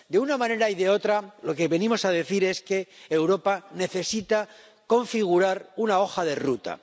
De una manera o de otra, lo que venimos a decir es que Europa necesita configurar una hoja de ruta.